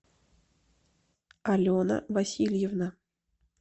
алена васильевна